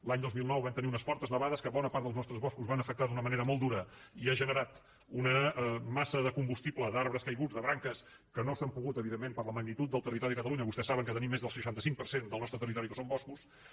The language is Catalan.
l’any dos mil nou vam tenir unes fortes nevades que a bona part dels nostres boscos van afectar d’una manera molt dura i han generat una massa de combustible d’arbres caiguts de branques que no s’han pogut evidentment per la magnitud del territori de catalunya vostès saben que tenim més del seixanta cinc per cent del nostre territori que són boscos